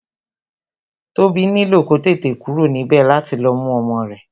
Tobi nílò kó tètè kúrò níbè láti lọ mú ọmọ rẹ